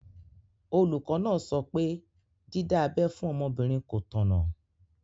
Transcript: Olùkọ́ náà sọ pé dídá abẹ́ fún ọmọbìnrin kò tọ̀nà.